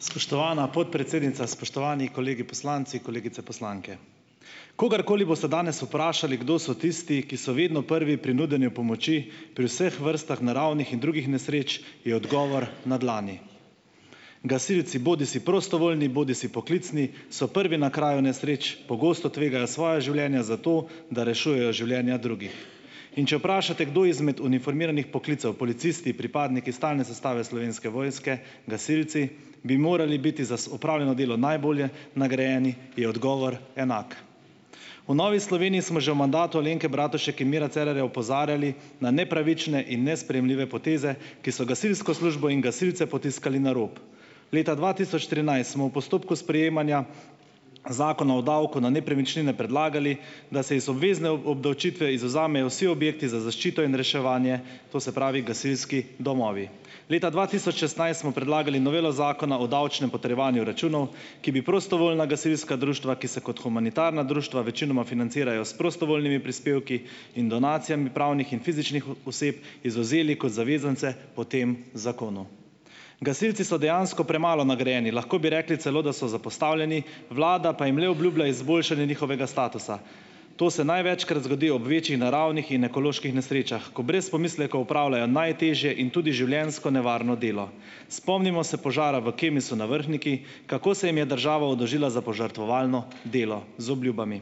Spoštovana podpredsednica, spoštovani kolegi poslanci, kolegice poslanke! Kogarkoli boste danes vprašali, kdo so tisti, ki so vedno prvi pri nudenju pomoči pri vseh vrstah naravnih in drugih nesreč, je odgovor na dlani. Gasilci, bodisi prostovoljni, bodisi poklicni, so prvi na kraju nesreč, pogosto tvegajo svoja življenja za to, da rešujejo življenja drugih. In če vprašate, kdo izmed uniformiranih poklicev - policisti, pripadniki stalne zastave Slovenske vojske, gasilci - bi morali biti za opravljeno delo najbolje nagrajeni - je odgovor enak. V Novi Sloveniji smo že v mandatu Alenke Bratušek in Mira Cerarja opozarjali na nepravične in nesprejemljive poteze, ki so gasilsko službo in gasilci potiskali na rob. Leta dva tisoč trinajst smo v postopku sprejemanja Zakona o davku na nepremičnine predlagali, da se iz obvezne obdavčitve izvzamejo vsi objekti za zaščito in reševanje - to se pravi gasilski domovi. Leta dva tisoč šestnajst smo predlagali novelo Zakona o davčnem potrjevanju računov, ki bi prostovoljna gasilska društva, ki se kot humanitarna društva večinoma financirajo s prostovoljnimi prispevki in donacijami pravnih in fizičnih oseb, izvzeli kot zavezance po tem zakonu. Gasilci so dejansko premalo nagrajeni. Lahko bi rekli celo, da so zapostavljeni, vlada pa jim le obljublja izboljšanje njihovega statusa. To se največkrat zgodi ob večji naravnih in ekoloških nesrečah. Ko brez pomislekov opravljajo najtežje in tudi življenjsko nevarno delo. Spomnimo se požara v Kemisu na Vrhniki, kako se jim je država oddolžila za požrtvovalno delo. Z obljubami.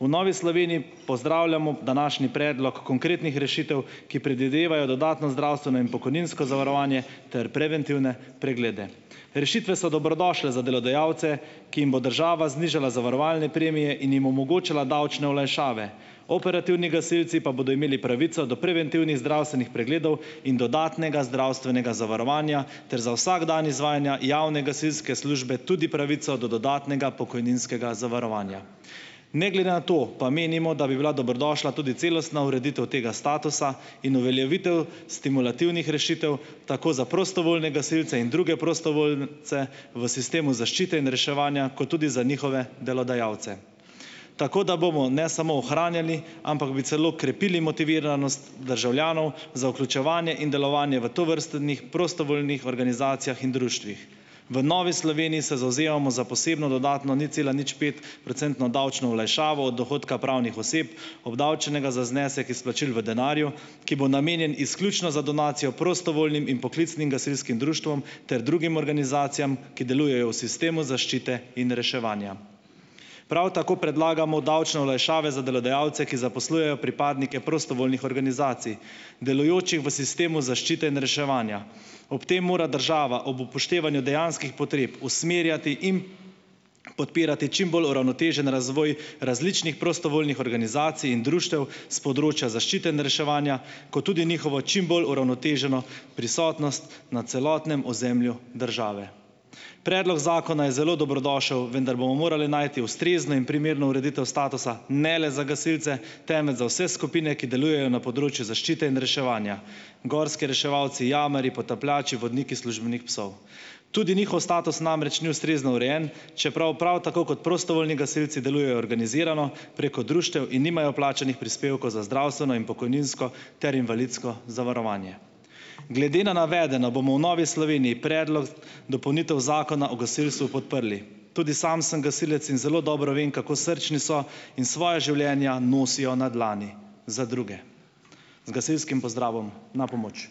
V Novi Sloveniji pozdravljamo današnji predlog konkretnih rešitev, ki predvidevajo dodatno zdravstveno in pokojninsko zavarovanje ter preventivne preglede. Rešitve so dobrodošle za delodajalce, ki jim bo država znižala zavarovalne premije in jim omogočala davčne olajšave. Operativni gasilci pa bodo imeli pravico do preventivnih zdravstvenih pregledov in dodatnega zdravstvenega zavarovanja ter za vsak dan izvajanja javne gasilske službe tudi pravico do dodatnega pokojninskega zavarovanja. Ne glede na to pa menimo, da bi bila dobrodošla tudi celostna ureditev tega statusa in uveljavitev stimulativnih rešitev, tako za prostovoljne gasilce in druge prostovoljce v sistemu zaščite in reševanja, kot tudi za njihove delodajalce. Tako da bomo ne samo ohranjali, ampak bi celo krepili motiviranost državljanov za vključevanje in delovanje v tovrstnih prostovoljnih organizacijah in društvih. V Novi Sloveniji se zavzemamo za posebno dodatno ničcelaničpet- procentno davčno olajšavo od dohodka pravnih oseb, obdavčenega za znesek izplačil v denarju, ki bo namenjen izključno za donacijo prostovoljnim in poklicnim gasilskih društvom ter drugim organizacijam, ki delujejo v sistemu zaščite in reševanja. Prav tako predlagamo davčne olajšave za delodajalce, ki zaposlujejo pripadnike prostovoljnih organizacij, delujočih v sistemu zaščite in reševanja. Ob tem mora država ob upoštevanju dejanskih potreb usmerjati in podpirati čim bolj uravnotežen razvoj različnih prostovoljnih organizacij in društev s področja zaščite in reševanja kot tudi njihovo čim bolj uravnoteženo prisotnost na celotnem ozemlju države. Predlog zakona je zelo dobrodošel, vendar bomo morali najti ustrezno in primerno ureditev statusa ne le za gasilce, temveč za vse skupine, ki delujejo na področju zašite in reševanja, gorski reševalci, jamarji, potapljači, vodniki službenih psov. Tudi njihov status namreč ni ustrezno urejen, čeprav prav tako kot prostovoljni gasilci delujejo organizirano preko društev in nimajo plačanih prispevkov za zdravstveno in pokojninsko ter invalidsko zavarovanje. Glede na navedeno bomo v Novi Sloveniji predlog dopolnitev zakona o gasilstvu podprli. Tudi sam sem gasilec in zelo dobro vem, kako srčni so, in svoja življenja nosijo na dlani za druge. Z gasilskim pozdravom "Na pomoč".